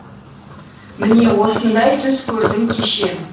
міне осындай түс көрдім кеше